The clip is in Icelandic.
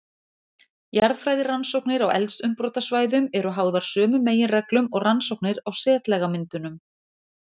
Jarðfræðirannsóknir á eldsumbrotasvæðum eru háðar sömu meginreglum og rannsóknir á setlagamyndunum.